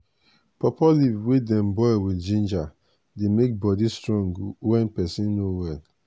pawpaw leaf wey dem boil with ginger dey make body strong wen peson no well.